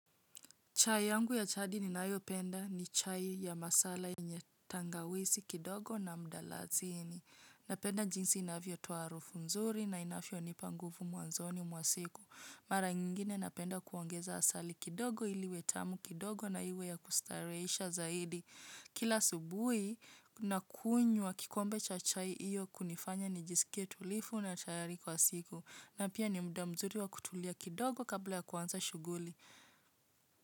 Chai yangu ya chadi ni nayo penda ni chai ya masala yenye tangawizi kidogo na mdalasini. Napenda jinsi inavyo toa harufu mzuri na inavyo nipa nguvu mwanzoni mwa siku. Mara ingine napenda kuongeza asali kidogo ili iwe tamu kidogo na iwe ya kustarehesha zaidi. Kila asubuhi na kunywa kikombe cha chai hiyo kunifanya ni jisikie tulivu na tayari kwa siku. Na pia ni muda mzuri wa kutulia kidogo kabla ya kuanza shughuli.